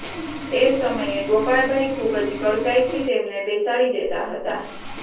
એ સમયે ગોપાળભાઈ ખૂબ જ કડકાઈથી તેમને બેસાડી દેતા હતા